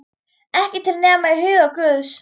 Ekki til nema í huga guðs.